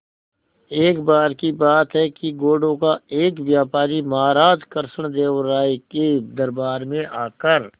एक बार की बात है कि घोड़ों का एक व्यापारी महाराज कृष्णदेव राय के दरबार में आकर